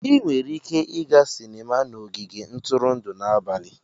Ị nwere ike ịga sinima na ogige ntụrụndụ n'abalị.